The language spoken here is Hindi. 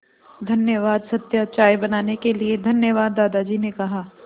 धन्यवाद सत्या चाय बनाने के लिए धन्यवाद दादाजी ने कहा